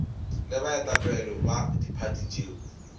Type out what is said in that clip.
le baetapele ba diphathi tšeo